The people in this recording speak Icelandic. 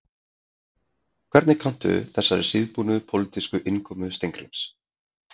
Hvernig kanntu þessari síðbúnu pólitísku innkomu Steingríms?